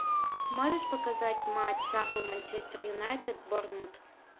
можешь показать матч апл манчестер юнайтед борнмут